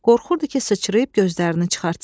Qorxurdu ki, sıçrayıb gözlərini çıxartsın.